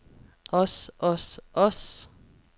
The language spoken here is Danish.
os os os